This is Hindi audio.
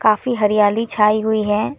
काफ़ी हरियाली छाई हुई है।